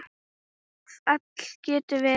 Fall getur verið